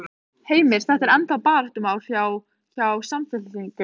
Heimir: Þetta er ennþá baráttumál hjá, hjá Samfylkingunni?